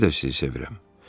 İndi də sizi sevirəm.